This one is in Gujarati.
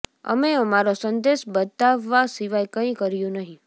અમે અમારો સંદેશ બતાવવા સિવાય કંઇ કર્યું નહીં